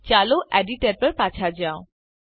ચાલો એડિટર પર પાછા જાઓ